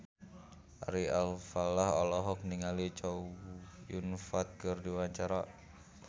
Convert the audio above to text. Ari Alfalah olohok ningali Chow Yun Fat keur diwawancara